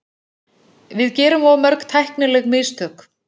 Við gerum of mörg tæknileg mistök.